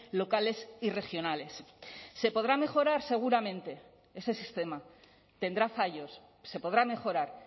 locales y regionales se podrá mejorar seguramente ese sistema tendrá fallos se podrá mejorar